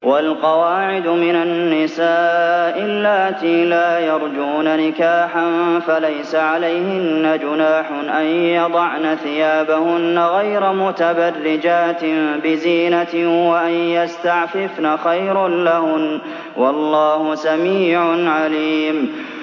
وَالْقَوَاعِدُ مِنَ النِّسَاءِ اللَّاتِي لَا يَرْجُونَ نِكَاحًا فَلَيْسَ عَلَيْهِنَّ جُنَاحٌ أَن يَضَعْنَ ثِيَابَهُنَّ غَيْرَ مُتَبَرِّجَاتٍ بِزِينَةٍ ۖ وَأَن يَسْتَعْفِفْنَ خَيْرٌ لَّهُنَّ ۗ وَاللَّهُ سَمِيعٌ عَلِيمٌ